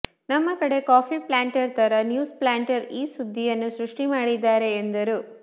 ನಮ್ಮ ಕಡೆ coffee planter ಥರ ನ್ಯೂಸ್ ಪ್ಲ್ಯಾಂಟರ್ ಈ ಸುದ್ದಿಯನ್ನು ಸೃಷ್ಟಿ ಮಾಡಿದ್ದಾರೆ ಎಂದರು